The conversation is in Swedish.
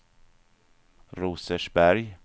Rosersberg